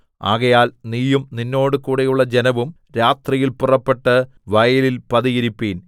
ആകയാൽ നീയും നിന്നോടുകൂടെയുള്ള ജനവും രാത്രിയിൽ പുറപ്പെട്ട് വയലിൽ പതിയിരിപ്പിൻ